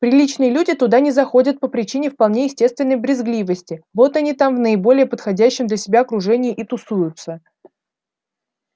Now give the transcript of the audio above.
приличные люди туда не заходят по причине вполне естественной брезгливости вот они там в наиболее подходящем для себя окружении и тусуются